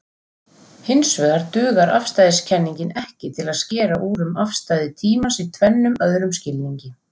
Hinsvegar dugar afstæðiskenningin ekki til að skera úr um afstæði tímans í tvennum öðrum skilningi.